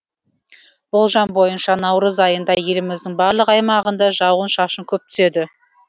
болжам бойынша наурыз айында еліміздің барлық аймағында жауын шашын көп түседі